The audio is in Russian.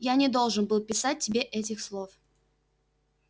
я не должен был писать тебе этих слов